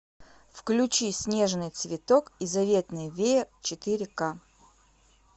включи снежный цветок и заветный веер четыре ка